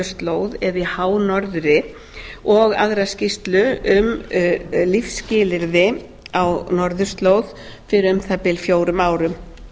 norðurslóð eða í hánorðri og aðra skýrslu um lífsskilyrði á norðurslóð fyrir um það bil fjórum árum